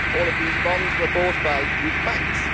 All of these bonds were bought by Greek banks.